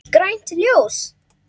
Grænt ljós.